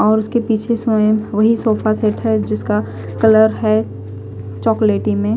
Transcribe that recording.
और उसके पीछे सोये है व्ही सोफा सेट है जिसका कलर है चोकॉलाटी में--